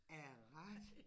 Er det rigtig?